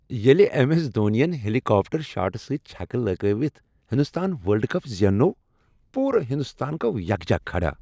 ییلِہ M. S Dhoni ین helicopter شاٹہٕ سۭتۍ چھکہٕ لگٲوِتھ ہندوستان ورلڈ کپ زیننوو، پورٕ ہندوستان گوو یکجا کھڑا۔